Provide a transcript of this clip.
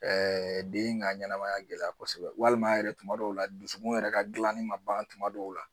den ka ɲɛnɛmaya gɛlɛya kosɛbɛ walima yɛrɛ tuma dɔw la dusukun yɛrɛ ka gilanni ma ban tuma dɔw la